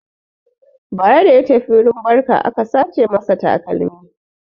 Bara da ya tafi wurin barka aka sace masa takalmi.